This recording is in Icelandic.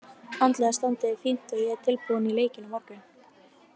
Andlega standið er fínt og ég er tilbúinn í leikinn á morgun.